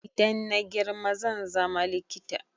Idan na girma zan zama likita